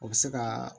O bɛ se ka